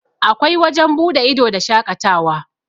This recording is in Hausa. akwai wajen buɗe ido da shaƙatawa